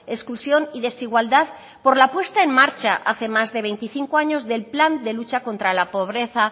exclusión y desigualdad por la puesta en marcha hace más de veinticinco años del plan de lucha contra la pobreza